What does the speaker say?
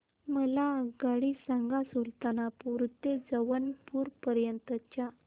मला आगगाडी सांगा सुलतानपूर ते जौनपुर पर्यंत च्या